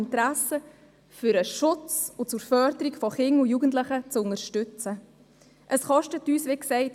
Deshalb möchte die SP-JUSO-PSA-Fraktion sie wieder